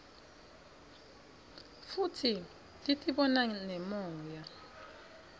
futsi titibona ngemoya